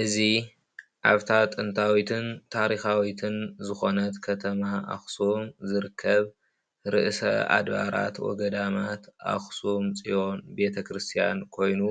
እዚ ኣብታ ጥንታዊትን ታሪካዊትን ዝኮነት ከተማ ኣክሱም ዝርከብ ርእሰ ኣድባራት ወገዳማት ኣክሱም ፅዮን ቤተክርስትያን ኮይኑ፣